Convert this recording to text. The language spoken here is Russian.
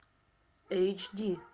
эйч ди